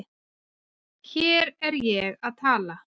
Hér er ég að tala